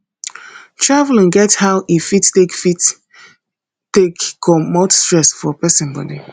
travelling get how e fit take fit take comot stress for person body